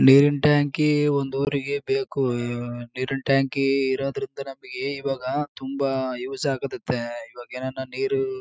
ನೀರಿನ್ ಟಾಂಕಿ ಒಂದು ಊರಿಗೆ ಬೇಕು ನೀರಿನ್ ಟಾಂಕಿ ಇರೋದ್ರಿಂದ ನಮ್ಮ್ಗ್ ಇವಾಗ ತುಂಬಾ ಯೂಸ್ ಆಗುತ್ತತೆ ಇವಾಗ ಏನನ್ನ ನೀರು.--